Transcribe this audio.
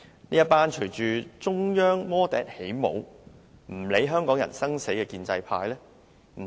建制派隨中央魔笛起舞，不顧港人生死。